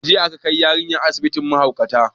Jiya aka kai yarinyar asibitin mahaukata